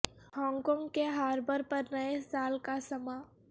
Hong Kong کے harbour پر نئے سال کا سماں